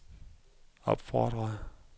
opfordrede